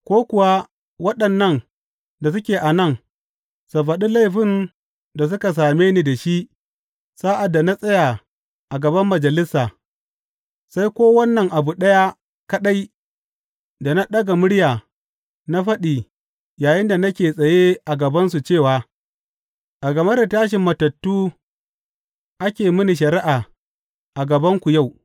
Ko kuwa waɗannan da suke a nan su faɗi laifin da suka same ni da shi sa’ad da na tsaya a gaban Majalisa, sai ko wannan abu ɗaya kaɗai da na ɗaga murya na faɗi yayinda nake tsaye a gabansu cewa, A game da tashin matattu ake mini shari’a a gabanku yau.’